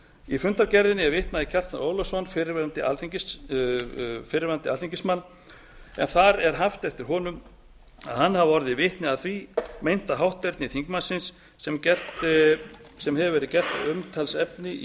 í fundargerðinni er vitnað í kjartan ólafsson fyrrverandi alþingismann en þar er haft eftir honum að hann hafi orðið vitni að því meinta hátterni þingmannsins sem gert hefur verið að umtalsefni í